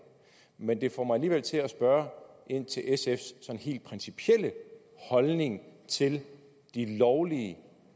men det får mig alligevel til at spørge ind til sfs sådan helt principielle holdning til de lovlige